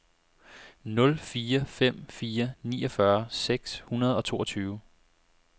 nul fire fem fire niogfyrre seks hundrede og toogtyve